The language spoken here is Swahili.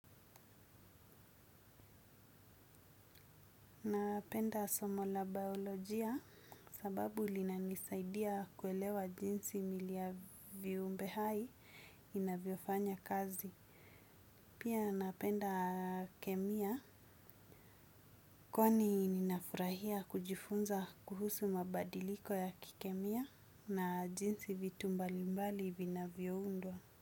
Napenda somo la biolojia sababu linanisaidia kuelewa jinsi miili ya viumbe hai inavyo fanya kazi. Pia napenda kemia kwani ninafurahia kujifunza kuhusu mabadiliko ya kikemia na jinsi vitu mbalimbali vinavyoundwa.